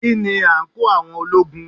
Kí ni àǹkóò àwọn ológun?